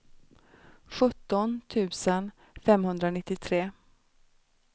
sjutton tusen femhundranittiotre